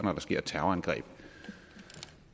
når der sker et terrorangreb